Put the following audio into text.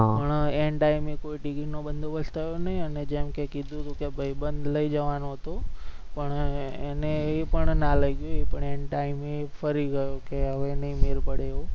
પણ and time કોઈ ticket નો બદોબસ્ત થયો નહી અને જેમકે કીધુ હતુ કે ભાઈબંધ લઈ જવાનુ હતુ પણ એને એ પણ ના લઈ ગયો એ પણ and time ફરી ગયો કે હવે નહી મેલ પડે એવુ